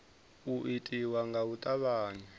u itiwa nga u tavhanya